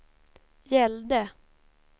gällde